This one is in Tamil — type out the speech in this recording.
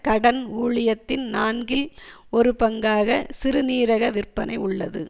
கடன் ஊழியத்தின் நான்கில் ஒரு பங்காக சிறுநீரக விற்பனை உள்ளது